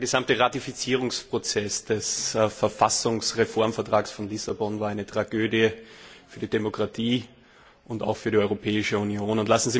Der gesamte Ratifizierungsprozess des Verfassungsreformvertrags von Lissabon war eine Tragödie für die Demokratie und auch für die Europäische Union.